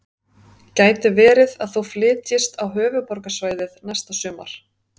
Gæti verið að þú flytjist á Höfuðborgarsvæðið næsta sumar?